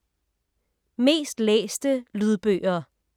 Mest læste lydbøger